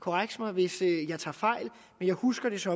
korreks mig hvis jeg tager fejl men jeg husker det som